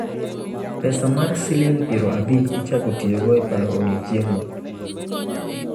Pesa mar siling' 50 ichako tiyogo e paro odiechieng'no.